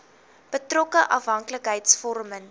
betrokke afhanklikheids vormende